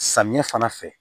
Samiya fana fɛ